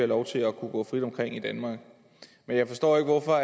lov til at kunne gå frit omkring i danmark men jeg forstår ikke hvorfor